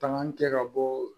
Tan kɛ ka bɔ